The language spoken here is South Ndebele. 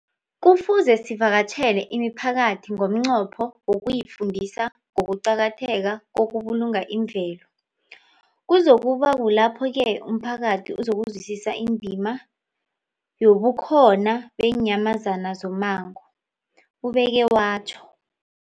Kufuze sivakatjhele imiphakathi ngomnqopho wokuyifundisa ngokuqakatheka kokubulunga imvelo. Kuzoku ba kulapho-ke umphakathi uzokuzwisisa indima yobukhona beenyamazana zommango, ubeke watjho.